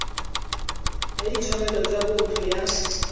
ya ditshwanelo tsa botho ya